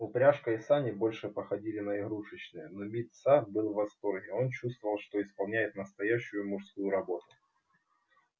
упряжка и сани больше походили на игрушечные но мит са был в восторге он чувствовал что исполняет настоящую мужскую работу